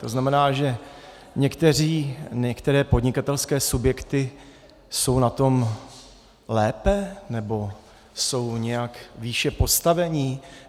To znamená, že některé podnikatelské subjekty jsou na to lépe, nebo jsou nějak výše postaveni?